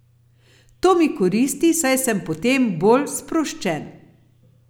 To mi koristi, saj sem potem bolj sproščen.